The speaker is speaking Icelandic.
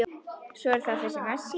Svo er það þessi Messi.